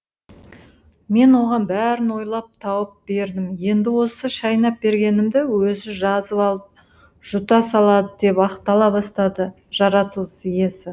мен оған бәрін ойлап тауып бердім енді осы шайнап бергенімді өзі жазып алып жұта салады деп ақтала бастады жаратылыс иесі